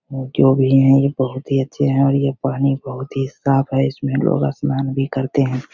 जो भी है ये बहुत ही अच्छे है और ये पानी बहुत साफ है इसमे लोग स्नान भी करते हैं।